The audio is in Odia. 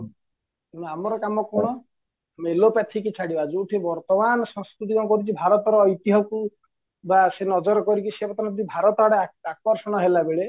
ଆମର କାମ କ'ଣ ଏଲୋପାତିକ ଛାଡିବା ଯୋଉଠି ବର୍ତମାନ ସଂସ୍କୃତି କ'ଣ କରୁଚି ଭାରତର ଐତିହକୁ ବା ସେନଜର କରିକି ସିଏ ବର୍ତମାନ ଭାରତ ଆଡେ ଆକର୍ଷଣ ହେଲାବେଳେ